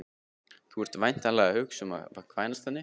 Þú ert væntanlega að hugsa um að kvænast henni